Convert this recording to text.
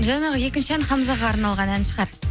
жаңағы екінші ән хамзаға арналған ән шығар